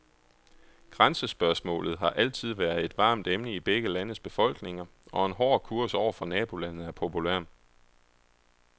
Grænsespørgsmålet har altid været et varmt emne i begge landes befolkninger, og en hård kurs over for nabolandet er populær.